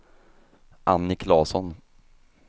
Annie Claesson